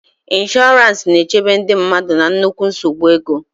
Ịnshọransị na-echebe ndị mmadụ na nnukwu nsogbu ego.